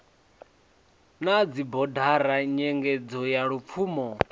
na dzibodara nyengedzo ya lupfumo